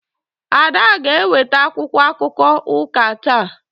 Ada ga-eweta akwụkwọ akụkọ ụka taa.